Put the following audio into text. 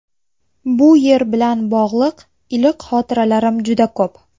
Bu yer bilan bog‘liq iliq xotiralarim juda ko‘p.